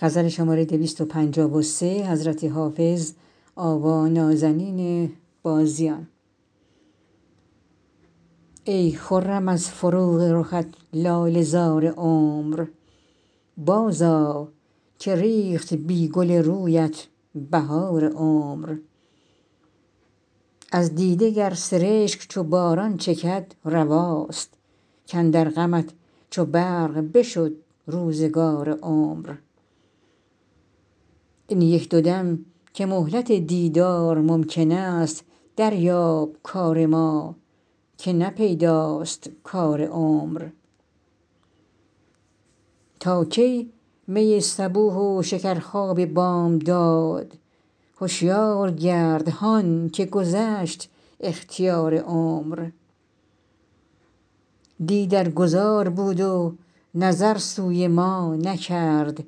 ای خرم از فروغ رخت لاله زار عمر بازآ که ریخت بی گل رویت بهار عمر از دیده گر سرشک چو باران چکد رواست کاندر غمت چو برق بشد روزگار عمر این یک دو دم که مهلت دیدار ممکن است دریاب کار ما که نه پیداست کار عمر تا کی می صبوح و شکرخواب بامداد هشیار گرد هان که گذشت اختیار عمر دی در گذار بود و نظر سوی ما نکرد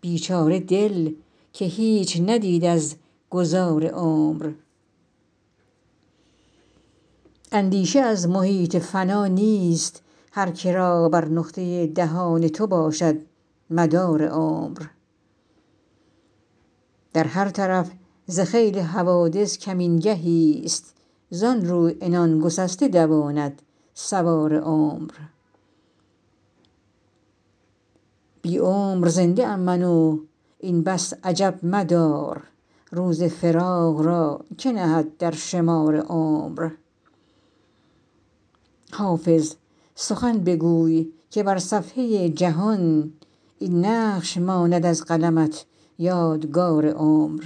بیچاره دل که هیچ ندید از گذار عمر اندیشه از محیط فنا نیست هر که را بر نقطه دهان تو باشد مدار عمر در هر طرف ز خیل حوادث کمین گهیست زان رو عنان گسسته دواند سوار عمر بی عمر زنده ام من و این بس عجب مدار روز فراق را که نهد در شمار عمر حافظ سخن بگوی که بر صفحه جهان این نقش ماند از قلمت یادگار عمر